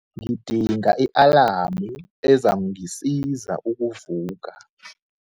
Ngidinga i-alamu ezangisiza ukuvuka.